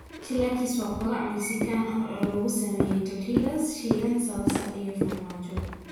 Chilaquiles waa quraac Mexican ah oo lagu sameeyay tortillas shiilan, salsa iyo farmaajo.